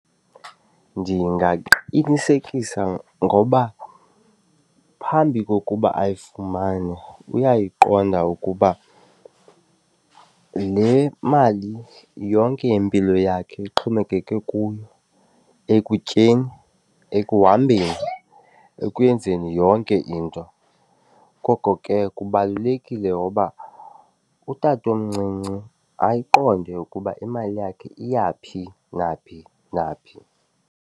Ndingaqinisekisa ngoba phambi kokuba ayifumane uyayiqonda ukuba le mali yonke impilo yakhe ixhomekeke kuyo ekutyeni ekuhambeni ekwenzeni yonke into, koko ke kubalulekile ngoba utatomncinci ayiqonde ukuba imali yakhe iyaphi naphi naphi.